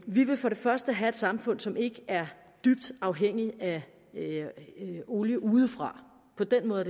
vi vil for det første have et samfund som ikke er dybt afhængig af olie udefra på den måde